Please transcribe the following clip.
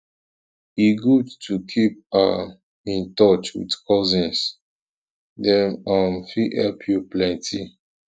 um e good to keep um in touch with cousins dem um fit help you plenty